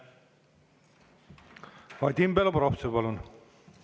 Vadim Belobrovtsev, palun!